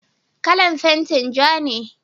kalan fentin ja ne